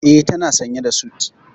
E, tana sanye da sut.